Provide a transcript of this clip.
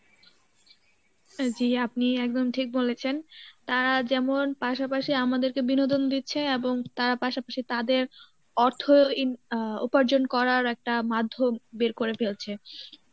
জী আপনি একদম ঠিক বলেছেন তারা যেমন পাশাপাশি আমাদেরকে বিনোদন দিচ্ছে এবং তারা পাশাপাশি তাদের অর্থ ইন~ আহ উপার্জন করার একটা মাধ্যম বের করে ফেলছে